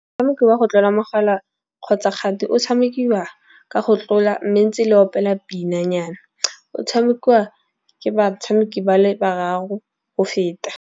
Motshameko wa go tlola mogala kgotsa kgati o tshamekiwa ka go tlola ne ntse le opela pina nyana. O tshamekiwa ke batshameki ba le bararo go feta.